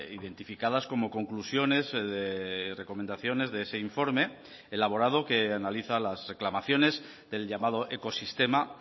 identificadas como conclusiones de recomendaciones de ese informe elaborado que analiza las reclamaciones del llamado ecosistema